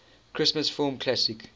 christmas film classic